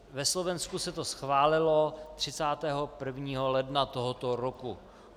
Na Slovensku se to schválilo 31. ledna tohoto roku.